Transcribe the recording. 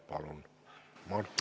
Palun, Martin Helme!